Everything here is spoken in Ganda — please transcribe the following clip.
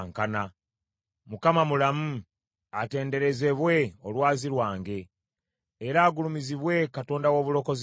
Mukama mulamu! Atenderezebwe, Olwazi lwange; era agulumizibwe Katonda w’obulokozi bwange.